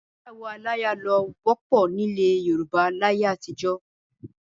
Ìgbéyàwó aláya ló wọ́pọ̀ nílẹ̀ Yorùbá láyé àtijọ́.